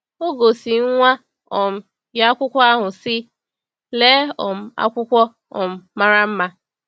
O gosi nwa um ya akwụkwọ ahụ, sị: “Lee um akwụkwọ um mara mma!”